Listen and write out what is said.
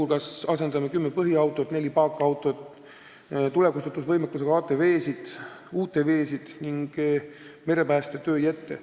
Me asendame kümme põhiautot, neli paakautot, tulekustutusvõimekusega ATV-sid, UTV-sid ning merepäästetöö jette.